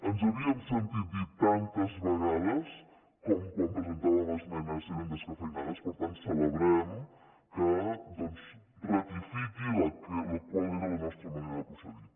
ens havíem sentit dir tantes vegades quan presentàvem esmenes que eren descafeïnades que per tant ara celebrem que doncs ratifiquin la que era la nostra manera de procedir